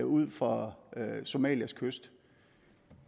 ud for somalias kyst